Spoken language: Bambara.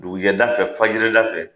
Dugujɛda fɛ ,fajida fɛ